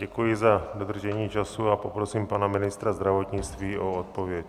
Děkuji za dodržení času a poprosím pana ministra zdravotnictví o odpověď.